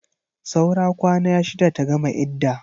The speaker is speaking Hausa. Saura kwana shida ta gama idda.